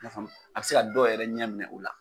I y'a faamu a bɛ se ka dɔw yɛrɛ ɲɛ minɛ u la